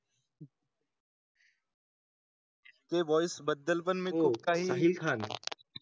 ते व्हॉइस बद्दल पण मी खूप काही येईल खान.